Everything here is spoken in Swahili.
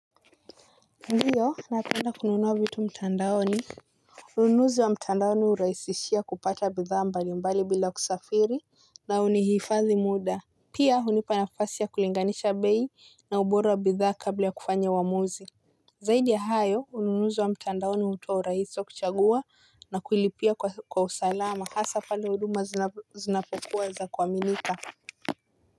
Ndiyo napenda kununua vitu mtandaoni. Ununuzi wa mtandaoni urahisishia kupata bidhaa mbali mbali bila kusafiri na unihifadhi muda. Pia hunipa nafasi ya kulinganisha bei na ubora wa bidhaa kabla ya kufanya uwamuzi. Zaidi ya hayo ununuzi wa mtandaoni hutoa urahisi wa kuchagua na kulipia kwa usalama hasa pale huduma zinapokuwa za kuaminika.